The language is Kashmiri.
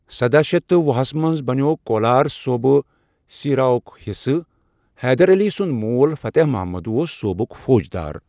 سداہ شتھ تہٕ وُہس منٛز بَنیوٛو کولار صوٗبہٕ سیٖراہُک حصہٕ، حیدَر علی سُنٛد مول فَتح مُحمد اوس صوبُک فوجدار۔